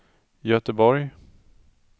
Göteborg